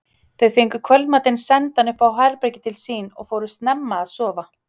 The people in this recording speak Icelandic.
Þau fengu kvöldmatinn sendan upp í herbergið til sín og fóru snemma að sofa.